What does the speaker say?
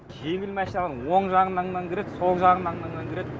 кейбір машиналар оң жаңынанан да кірет сол жағыңнанана да кірет